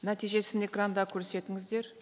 нәтижесін экранда көрсетіңіздер